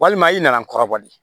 Walima i nana n kɔrɔbɔ de